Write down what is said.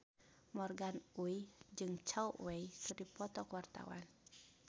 Morgan Oey jeung Zhao Wei keur dipoto ku wartawan